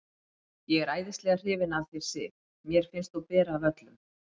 Ég er æðislega hrifinn af þér, Sif. mér finnst þú bera af öllum.